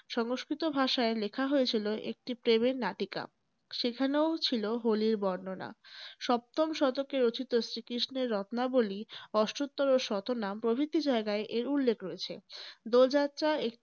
সংস্কৃত ভাষায় লেখা হয়েছিল একটি প্রেমের নাটিকা। সেখানেও ছিল হোলির বর্ণনা। সপ্তম শতকে রচিত শ্রীকৃষ্ণের রত্নাবলী, অষ্টোত্তর ও শতনা প্রভৃতি জায়গায় এর উল্লেখ রয়েছে। দোল যাত্রা